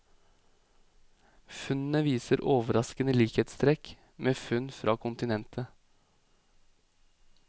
Funnene viser overraskende likhetstrekk med funn fra kontinentet.